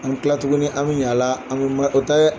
An bɛ tila tuguni an bɛ ɲa a la, an bɛ o tɛ dɛ